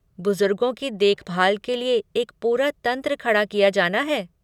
बुजुर्गों की देखभाल के लिए एक पूरा तंत्र खड़ा किया जाना है।